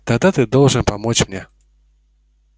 тогда ты должен помочь мне